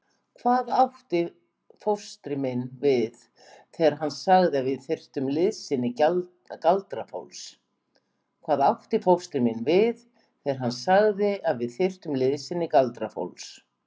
Hvað átti fóstri minn við þegar hann sagði að við þyrftum liðsinni galdrafólks?